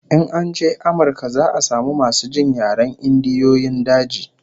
In an je Amirka za'a samu masu jin yaren Indiyoyin daji